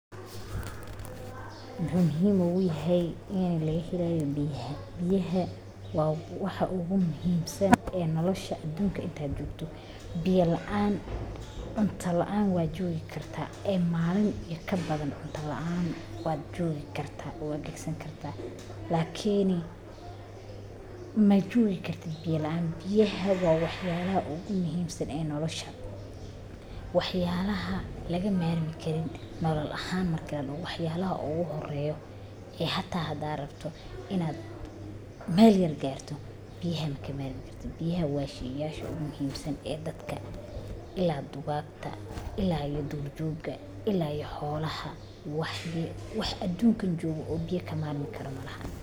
Muxuu muhiim ogu yahay ini laga helayo biyaha, biyaha waa waxa ogu muhiimsan ee nilosha adunka inta jogto biya laan cunta laan waa jogi kartaa malin iyo kabadan cunta laan wajogi kartaa lakini majogi kartid biya laan biyaha waa waxyala ee ogu muhiimsan ee nolosha waxyalaha laga marmi karin nolol ahan marki ladoho waxyalaha ogu horeyo ee hata hada rabto ina meel yar garto biyaha kama marmi karti biyaha waa shey aad muhiim san ee dadka ila dugagta ila dadka wax adunkan jogo oo biyaha ka marmi karo majirto.